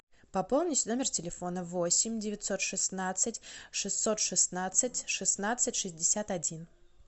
пополнить номер телефона восемь девятьсот шестнадцать шестьсот шестнадцать шестнадцать шестьдесят один